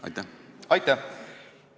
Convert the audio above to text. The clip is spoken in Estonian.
Aitäh!